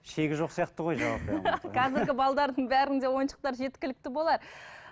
шегі жоқ сияқты ғой қазіргі бәрінде ойыншықтар жеткілікті болар